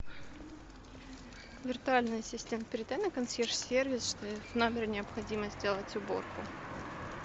виртуальный ассистент передай на консьерж сервис что в номере необходимо сделать уборку